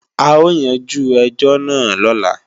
A o yanjú ẹjọ́ náà lọ́la